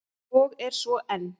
Og er svo enn!